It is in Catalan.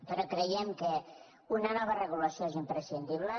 però creiem que una nova regulació és imprescindible